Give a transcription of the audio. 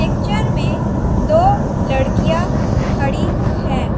Picture में दो लड़कियां खड़ी है।